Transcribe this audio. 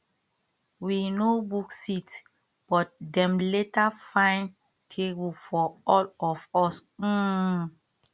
we no book seat but dem later find table for all of us um